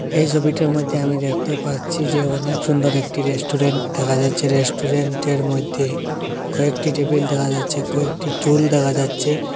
এই ছবিটার মইধ্যে আমি দেখতে পাচ্ছি যে অনেক সুন্দর একটি রেস্টুরেন্ট দেখা যাচ্ছে রেস্টুরেন্টের মইধ্যে কয়েকটি টেবিল দেখা যাচ্ছে কয়েকটি টুল দেখা যাচ্ছে।